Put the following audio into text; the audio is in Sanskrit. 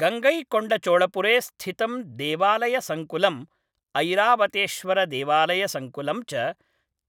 गङ्गैकोण्डचोळपुरे स्थितं देवालयसङ्कुलम्, ऐरावतेश्वरदेवालयसङ्कुलं च